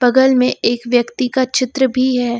बगल मे एक व्यक्ति का चित्र भी है।